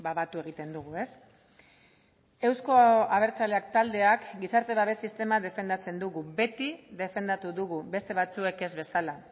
batu egiten dugu euzko abertzaleak taldeak gizarte babes sistema defendatzen dugu beti defendatu dugu beste batzuek ez bezala